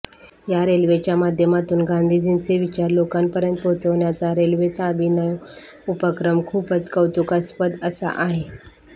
या रेल्वेच्या माध्यमातून गांधीजींचे विचार लोकांपर्यंत पोहोचवण्याचा रेल्वेचा अभिनव उपक्रम खूपच कौतुकास्पद असा आहे